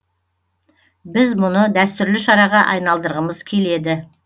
біз мұны дәстүрлі шараға айналдырғымыз келеді